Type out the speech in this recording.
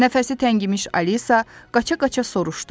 Nəfəsi təngimiş Alisa qaça-qaça soruşdu: